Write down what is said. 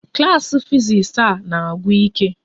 Klas fiziks a na-agwụ ike